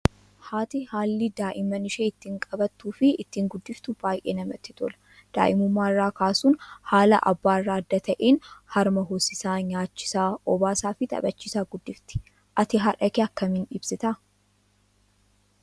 Haati haalli daa'imman ishee ittiin qabattuu fi ittiin guddiftu baay'ee namatti tola. Daa'imummaa irraa kaasuun haala abbaa irraa adda ta'een harma hoosisaa, nyaachisaa, obaasaa fi tphachiisaa guddifti. Ati haadha kee akkamiin ibsitaa?